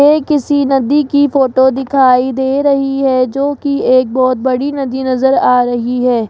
ये किसी नदी की फोटो दिखाई दे रही है जो की एक बहोत बड़ी नदी नजर आ रही है।